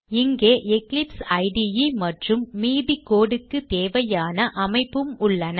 இங்கே எக்லிப்ஸ் இடே மற்றும் மீதி code க்கு தேவையான அமைப்பும் உள்ளன